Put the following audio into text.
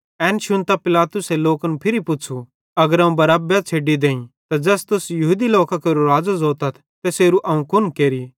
एन शुन्तां पिलातुसे लोकन फिरी पुच़्छ़ू अगर अवं बरब्बे छ़ेड्डी देईं त ज़ैस तुस यहूदी लोकां केरो राज़ो ज़ोतथ तैसेरू अवं कुन केरि